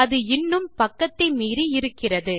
அது இன்னும் பக்கத்தை மீறி இருக்கிறது